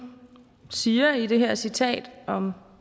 siger i det her citat om